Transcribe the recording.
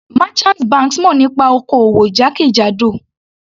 Merchant banks mọ̀ nípa oko-òwò jákèjádò.